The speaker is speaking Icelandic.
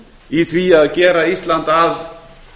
í því að gera ísland að